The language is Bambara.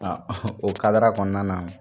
Nka o kadara kɔnɔna na